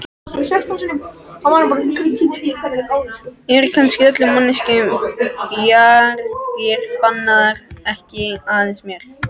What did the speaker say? Eru kannski öllum manneskjum bjargir bannaðar, ekki aðeins mér?